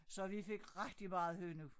Så vi fik rigtig meget hønnu